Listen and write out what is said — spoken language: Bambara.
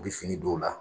U bɛ fini don u la